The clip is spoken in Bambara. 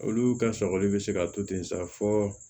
Olu ka sɔgɔli be se ka to ten sa fɔ